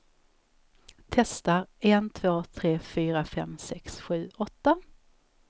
Testar en två tre fyra fem sex sju åtta.